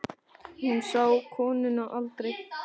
Hún sá konuna aldrei.